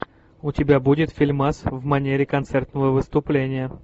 у тебя будет фильмас в манере концертного выступления